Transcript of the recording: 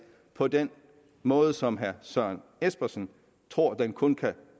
på den måde som herre søren espersen tror at den kun kan